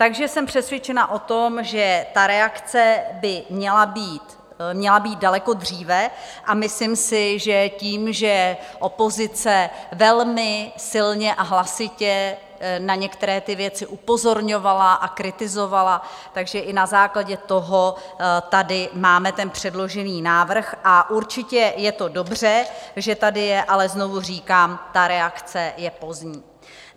Takže jsem přesvědčena o tom, že ta reakce by měla být daleko dříve a myslím si, že tím, že opozice velmi silně a hlasitě na některé ty věci upozorňovala a kritizovala, takže i na základě toho tady máme ten předložený návrh - a určitě je to dobře, že tady je - ale znovu říkám, ta reakce je pozdní.